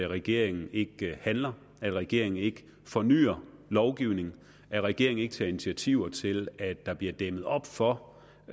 regeringen ikke handler at regeringen ikke fornyer lovgivningen at regeringen ikke tager initiativer til at der bliver dæmmet op for